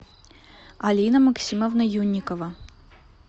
алина максимовна юнникова